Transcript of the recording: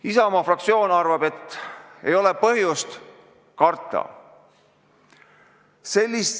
Isamaa fraktsioon arvab, et ei ole põhjust karta.